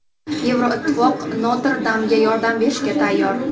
Yevroittifoq Notr-Damga yordam berishga tayyor.